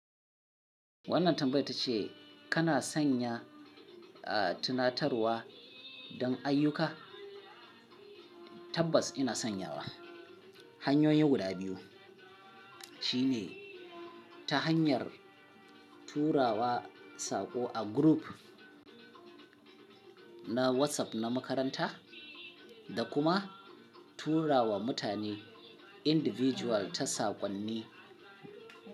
Wannan tambayar ta ce kana sanya, tunatarwa don ayyuka? Tabbas ina sanyawa. Hanyoyi guda biyu. Shine ta hanyar turawa saƙo a group na WhatsApp na makaranta da kuma turawa mutane individual ta saƙonni.